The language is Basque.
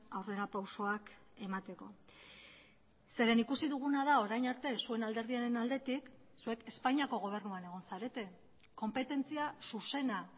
aurrerapausoak emateko zeren ikusi duguna da orain arte zuen alderdiaren aldetik zuek espainiako gobernuan egon zarete konpetentzia zuzena